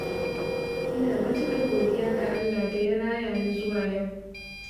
Ina matuƙar godiya ga Allah da ya raya ni zuwa yau